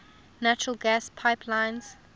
natural gas pipelines